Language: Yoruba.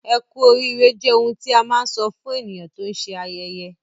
Ẹ́ku oriire jẹ́ oḥun tí à má nsọ̀ fún ènìyàn tó n ṣé ayẹyẹ